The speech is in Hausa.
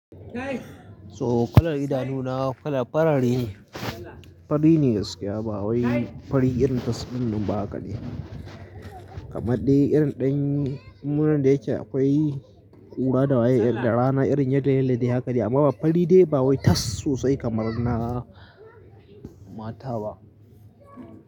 So kalar idanuna kalar fari ne, fari ne gaskiya bawai fari irin taswin nan ba haka ne. Kamadde irin dai lura da yake akwai ƙura da rana irin yadda duk da haka ne, amma fari dai ba wai tas sosai kamar na mata ba.